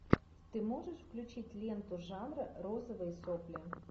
ты можешь включить ленту жанра розовые сопли